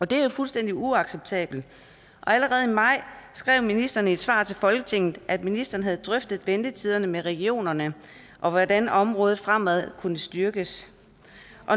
det er fuldstændig uacceptabelt allerede i maj skrev ministeren i et svar til folketinget at ministeren havde drøftet ventetiderne med regionerne og hvordan området fremad kunne styrkes